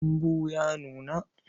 Dambu ya nuna.